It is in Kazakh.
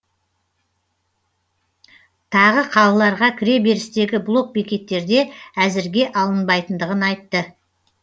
тағы қалаларға кіреберістегі блок бекеттерде әзірге алынбайтындығын айтты